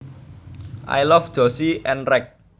I love Josie and Reg